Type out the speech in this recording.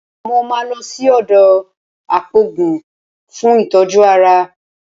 Mo máa lọ sí ọ̀dọ̀ apòògùn fún ìtọ́jú ara